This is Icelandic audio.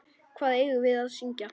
Hvað eigum við að syngja?